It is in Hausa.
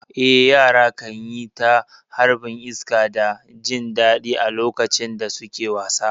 Eh, yara kan yi ta harbin iska da jin daɗi a lokacin da suke wasa.